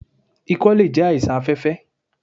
Ikọ́ lè jẹ́ àìsàn afẹ́fẹ́.